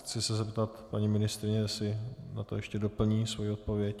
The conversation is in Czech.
Chci se zeptat paní ministryně, jestli na to ještě doplní svoji odpověď.